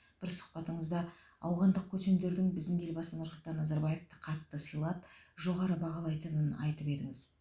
бір сұхбатыңызда ауғандық көсемдердің біздің елбасы нұрсұлтан назарбаевті қатты сыйлап жоғары бағалайтынын айтып едіңіз